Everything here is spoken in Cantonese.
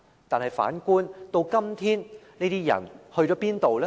但反觀今天，這些人到了哪裏呢？